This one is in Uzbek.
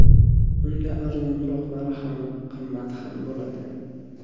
Unda arzonroqlari ham, qimmati ham bo‘ladi.